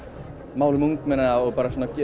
málum ungmenna og